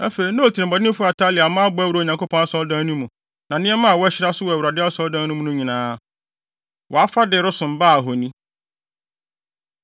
Afei na otirimɔdenfo Atalia mma abɔ awura Onyankopɔn Asɔredan no mu, na nneɛma a wɔahyira so wɔ Awurade Asɔredan no mu no nyinaa, wɔafa de resom Baal ahoni.